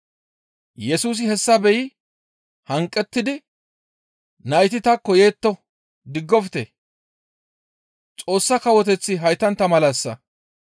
Yesusi hessa beyi hanqettidi, «Nayti taakko yetto; diggofte; Xoossa Kawoteththi haytantta malassa.